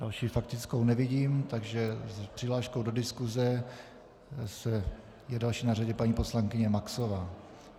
Další faktickou nevidím, takže s přihláškou do diskuse je další na řadě paní poslankyně Maxová.